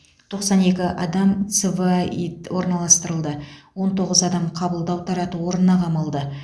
төқсан екі адам цваид орналастырылды және он тоғыз адам қабылдау тарату орнына қамалды